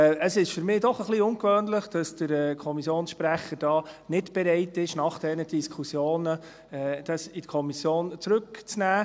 Es ist für mich doch ein wenig ungewöhnlich, dass der Kommissionssprecher hier nicht bereit ist, dies nach diesen Diskussionen in die Kommission zurück zu nehmen.